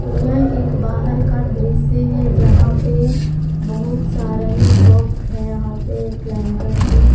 यह एक बाहर का दृश्य है जहां पे बहुत सारा ही शॉप है यहां पे एक लैंटर से--